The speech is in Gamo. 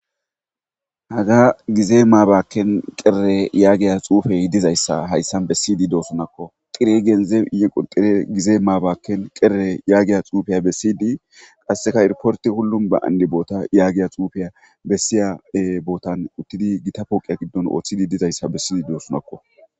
Hagga gize mabaken yagiya xuufey dozayssa hayssan bessidii dosonnakko tire genzebii ye kuteba gize maabaken kere yagiya xuufiya bessidii qseakka iriporti hulum ba andi botta yagiya xuufiya bessiya uttidii gitta pooqqe giddon Ooththidi dizayssa bessidii dossonnakko